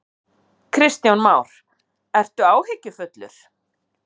Kristján Már: Ertu áhyggjufullur?